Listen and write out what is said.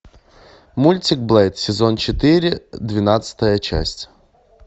мультик блэйд сезон четыре двенадцатая часть